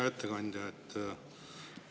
Hea ettekandja!